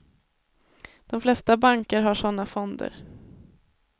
De flesta banker har sådana fonder.